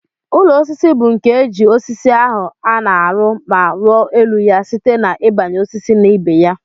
Ụlọ osisi bu nke eji osisi ahu ana arụ ma ruọ elu ya site na ibanye osisi na ibeya.